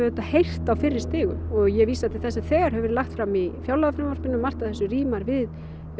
auðvitað heyrt á fyrri stigum og ég vísa til þess sem þegar hefur verið lagt fram í fjárlagafrumvarpinu margt af þessu rímar við